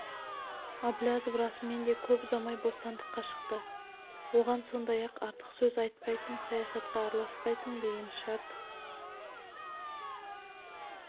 әблязов расымен де көп ұзамай-ақ бостандыққа шықты оған сондай-ақ артық сөз айтпайсың саясатқа араласпайсың деген шарт